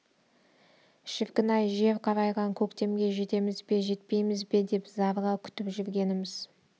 шіркін-ай жер қарайған көктемге жетеміз бе жетпейміз бе деп зарыға күтіп жүргеніміз